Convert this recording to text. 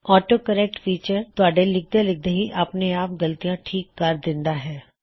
auto correct feature ਤੁਹਾਡੇ ਲਿਖਦੇ ਲਿਖਦੇ ਹੀ ਆਪਣੇ ਆਪ ਗਲਤੀਆਂ ਠੀਕ ਕਰ ਦਿੰਦਾ ਹੈ